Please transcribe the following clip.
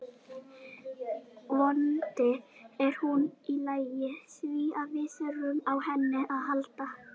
Vonandi er hún í lagi því við þurfum á henni að halda.